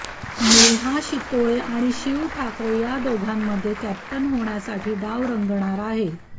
नेहा शितोळे आणि शिव ठाकरे या दोघांमध्ये कॅप्टन होण्यासाठी डाव रंगणार आहे